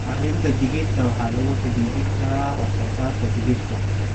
Arrinta digirta waxa lagu xidhidhi karaa wax soo saarka saliidda.